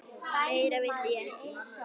Meira vissi ég ekki.